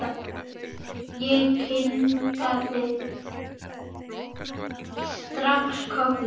Ég kinkaði strax kolli.